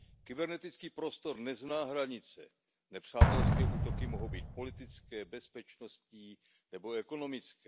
Kybernetický prostor nezná hranice, nepřátelské útoky mohou být politické, bezpečnostní nebo ekonomické.